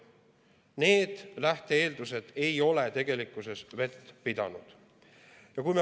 Need lähte-eeldused ei ole vett pidanud.